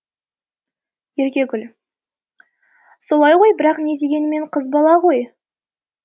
еркегүл солай ғой бірақ не дегенімен қыз бала ғой